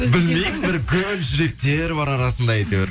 білмеймін бір гүл жүректер бар арасында әйтеуір